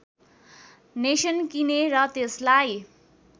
nation किने र त्यसलाई